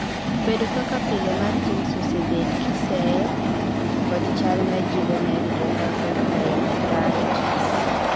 bedo kaka pile mar jins osebed kiseyo kod chal mar juvenile idiopathic arthritis